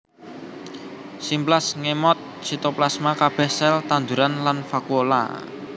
Simplas ngemot sitoplasma kabeh sel tanduran lan vakuola